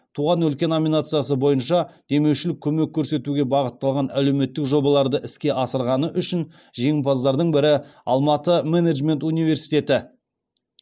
туған өлке номинациясы бойынша демеушілік көмек көрсетуге бағытталған әлеуметтік жобаларды іске асырғаны үшін жеңімпаздардың бірі алматы менеджмент университеті